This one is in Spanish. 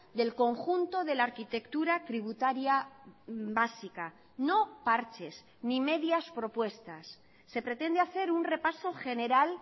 del conjunto de la arquitectura tributaria básica no parches ni medias propuestas se pretende hacer un repaso general